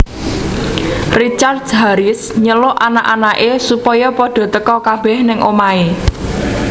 Richard Harris nyeluk anak anak e supaya padha teka kabeh nang omahe